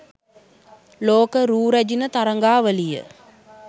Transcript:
ලෝක රූ රැජිණ තරගාවලිය